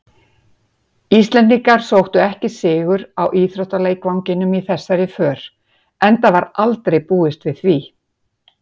Íslendingar sóttu ekki sigur á íþróttaleikvanginum í þessari för, enda var aldrei við því búist.